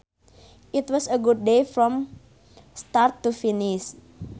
It was a good day from start to finish